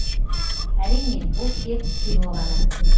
әрине бұл тек кино ғана